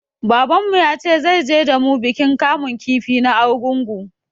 Babanmu ya ce zai je da mu bikin kamun ki na Arugungu.